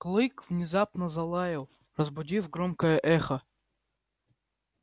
клык внезапно залаял разбудив громкое эхо